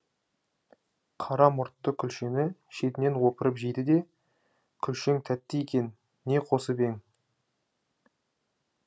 қара мұртты күлшені шетінен опырып жейді де күлшең тәтті екен не қосып ең